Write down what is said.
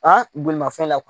bolimafɛn la